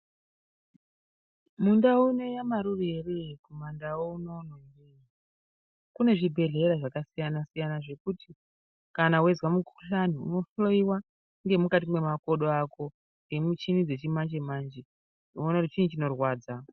Mundau ino yamarure here kumandau unono kune zvibhedhlera zvakasiyana-siyana zvekuti kana weizwa mukuhlani, unohloyiwa ngemukati memakodo ako ngemichini dzechimanje-manje. Voone kuti chii chinorrwadza.